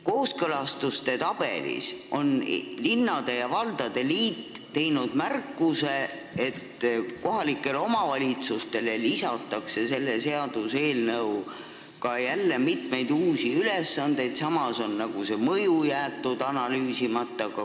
Kooskõlastuste tabelis on Eesti Linnade ja Valdade Liit teinud märkuse, et kohalikele omavalitsustele lisatakse selle seaduseelnõu kohaselt jälle mitmeid uusi ülesandeid, samas on selle mõju jäetud analüüsimata.